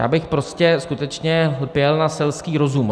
Já bych prostě skutečně lpěl na selském rozumu.